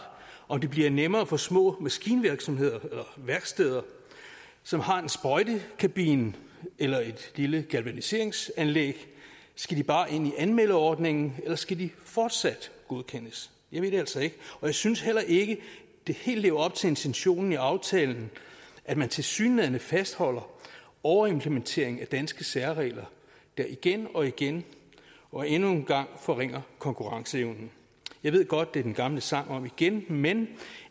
om det bliver nemmere for små maskinvirksomheder eller værksteder som har en sprøjtekabine eller et lille galvaniseringsanlæg skal de bare ind i anmeldeordningen eller skal de fortsat godkendes jeg ved det altså ikke og jeg synes heller ikke det helt lever op til intentionen i aftalen at man tilsyneladende fastholder overimplementeringen af danske særregler der igen og igen og endnu en gang forringer konkurrenceevnen jeg ved godt at det er den gamle sang om igen men